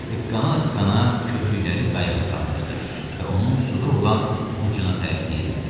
Hıqqana-hıqqana kütükləri qayıqa qaldırdı və onun suda olan ucuna tərəf diyirlədi.